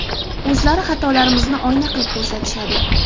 O‘zlari xatolarimizni oyna qilib ko‘rsatishadi.